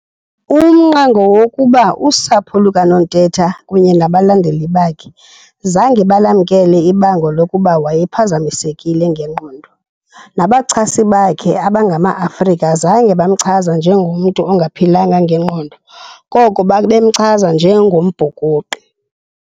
Umnqa ngowokuba, usapho lukaNontetha kunye nabalandeli bakhe zange balamkele ibango lokuba wayephazamisekile ngengqondo. Nabachasi bakhe abangamaAfrika zange bamchaza njengomntu ongaphilanga ngengqondo koko babemchaza njengombhukuqi.